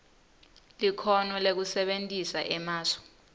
likhono lekusebentisa emasu